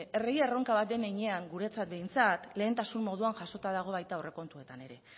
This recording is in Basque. herri erronka bat den heinean guretzat behintzat lehentasun moduan jasota dago baita aurrekontuetan ere